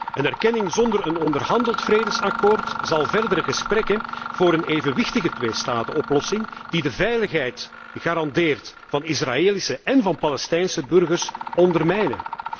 En de erkenning zonder een onderhandeld vredesakkoord zal verdere gesprekken voor een evenwichtige tweestatenoplossing die de veiligheid garandeert van Israëlische én Palestijnse burgers, ondermijnen.